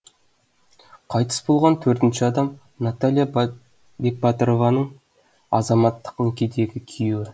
қайтыс болған төртінші адам наталья бекбатырованың азаматтық некедегі күйеуі